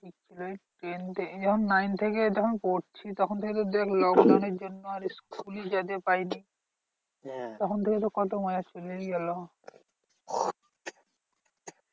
ten থেকে যখন nine থেকে যখন পড়ছি তখন থেকে তো দেখ lockdown এর জন্য আর school ই যেতে পারিনি। তখন থেকে তো কত চলেই গেলো